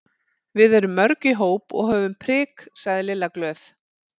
Við erum mörg í hóp og höfum prik sagði Lilla glöð.